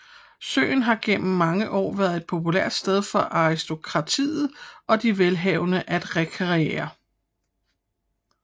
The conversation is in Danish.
Søen har gennem mange år været et populært sted for aristokratiet og de velhavende at rekreere